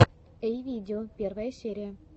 эй видео первая серия